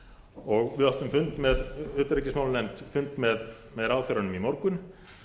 og við í utanríkismálanefnd áttum fund með ráðherranum í morgun